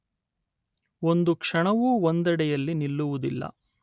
ಒಂದು ಕ್ಷಣವೂ ಒಂದೆಡೆಯಲ್ಲಿ ನಿಲ್ಲುವುದಿಲ್ಲ.